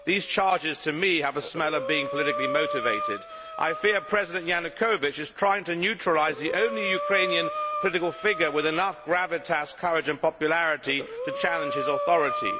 These charges to me have a smell of being politically motivated. I fear that President Yanukovych is trying to neutralise the only Ukrainian political figure with enough gravitas, courage and popularity to challenge his authority.